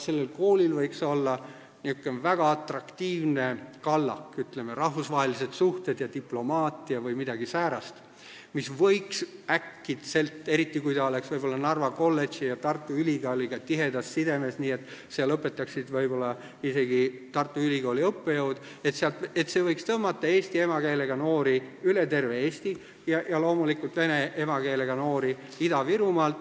Sellel koolil võiks olla niisugune väga atraktiivne kallak, ütleme, rahvusvahelised suhted ja diplomaatia või midagi säärast, mis võiks äkitselt – eriti kui ta oleks Tartu Ülikooli Narva kolledžiga tihedas sidemes, nii et seal õpetaksid võib-olla isegi Tartu Ülikooli õppejõud – tõmmata eesti emakeelega noori üle terve Eesti ja loomulikult vene emakeelega noori Ida-Virumaalt.